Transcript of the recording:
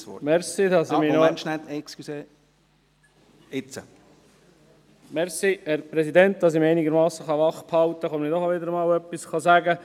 Damit ich mich einigermassen wachhalten kann, sage ich auch wieder einmal etwas.